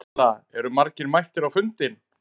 Erla, eru margir mættir á fundinn?